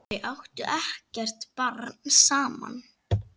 Þau áttu ekkert barn saman.